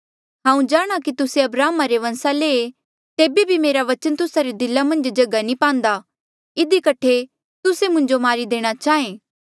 हांऊँ जाणहां कि तुस्से अब्राहमा रे बंसा ले ऐें तेबे बी मेरा बचन तुस्सा रे दिला मन्झ जगहा नी पांदा इधी कठे तुस्से मुंजो मारी देणा चाहें